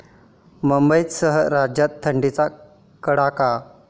मुंबईसह राज्यात थंडीचा कडाका